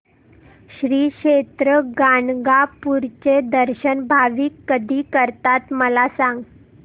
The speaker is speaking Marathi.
श्री क्षेत्र गाणगापूर चे दर्शन भाविक कधी करतात मला सांग